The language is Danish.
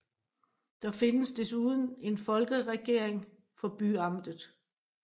Der findes desuden en Folkeregering for byamtet